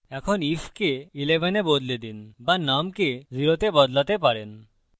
এখন if কে 11 তে বদলে দিন বা num কে 0 তে বদলাতে পারেন